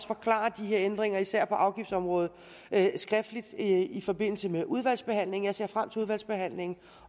forklare de her ændringer især på afgiftsområdet skriftligt i forbindelse med udvalgsbehandlingen jeg ser frem til udvalgsbehandlingen